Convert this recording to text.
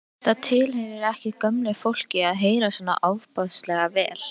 Það tilheyrði ekki gömlu fólki að heyra svona ofboðslega vel.